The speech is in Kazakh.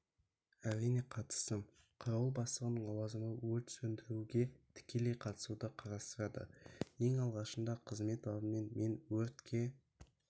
әрине қатыстым қарауыл бастығының лауазымы өрт сөндіруге тікелей қатысуды қарастырады ең алғашында қызмет бабымен мен өртке